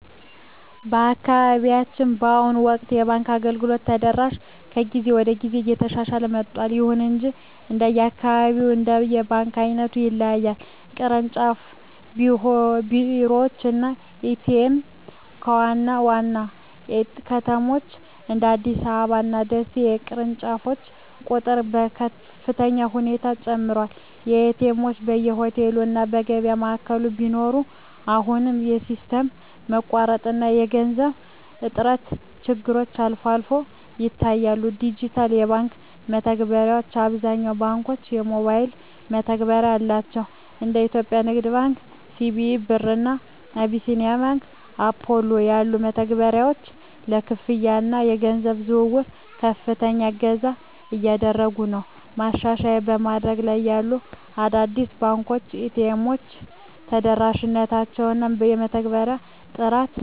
በአካባቢያችን በአሁኑ ወቅት የባንክ አገልግሎት ተደራሽነት ከጊዜ ወደ ጊዜ እየተሻሻለ መጥቷል። ይሁን እንጂ እንደየአካባቢው እና እንደ ባንኩ ዓይነት ይለያያል። ቅርንጫፍ ቢሮዎች እና ኤ.ቲ.ኤም (ATM): በዋና ዋና ከተሞች (እንደ አዲስ አበባ እና ደሴ) የቅርንጫፎች ቁጥር በከፍተኛ ሁኔታ ጨምሯል። ኤ.ቲ. ኤምዎች በየሆቴሉ እና የገበያ ማዕከላት ቢኖሩም፣ አሁንም የሲስተም መቋረጥ እና የገንዘብ እጥረት ችግሮች አልፎ አልፎ ይታያሉ። ዲጂታል የባንክ መተግበሪያዎች: አብዛኞቹ ባንኮች የሞባይል መተግበሪያ አላቸው። እንደ የኢትዮጵያ ንግድ ባንክ (CBE Birr) እና አቢሲኒያ ባንክ (Apollo) ያሉ መተግበሪያዎች ለክፍያ እና ለገንዘብ ዝውውር ከፍተኛ እገዛ እያደረጉ ነው። ማሻሻያ በማደግ ላይ ያሉ አዳዲስ ባንኮች የኤ.ቲ.ኤም ተደራሽነታቸውን እና የመተግበሪያዎቻቸውን ጥራት ማሻሻል ይኖርባ